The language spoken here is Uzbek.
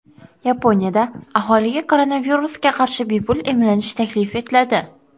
Yaponiyada aholiga koronavirusga qarshi bepul emlanish taklif etiladi.